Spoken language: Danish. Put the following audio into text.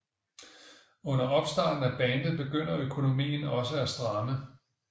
Under opstarten af bandet begynder økonomien også at stramme